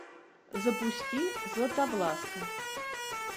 запусти златовласка